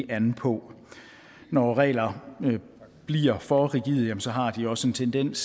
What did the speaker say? an på når regler bliver for rigide har de også en tendens